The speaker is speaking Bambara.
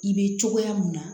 I bɛ cogoya mun na